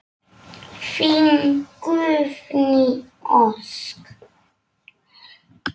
Þín Guðný Ósk.